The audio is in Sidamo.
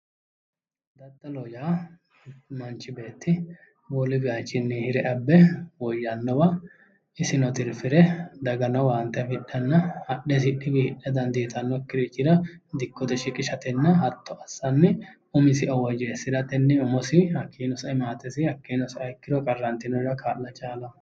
Daddalloho yaa manchi beetti wolu wiichinni hire abe woyannowa isino tirffire dagano owaante afidhanna hadhe isi wiinni hidha dandiitannokirichira dikkote shiqishaoo hatto assanni umisino woyeessiratenni umisiinninno sae hattono maatesi kaa'lanni qarantinoriranno kaa'la chaallanno